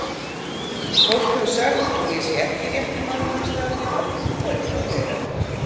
Fólk hefur sagt að ég sé ekki rétti maðurinn í starfið og eitthvað fleira